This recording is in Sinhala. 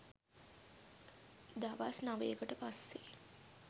දවස් නවයකට පස්සේ